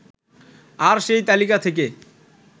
আর সেই তালিকা থেকে